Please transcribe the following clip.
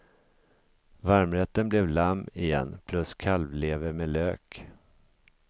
Varmrätten blev lamm igen plus kalvlever med lök.